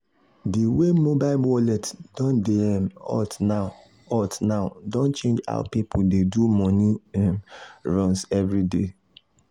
the way mobile wallet don dey um hot now hot now don change how people dey do money um runs every day.